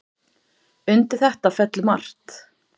Undir þetta fellur margt.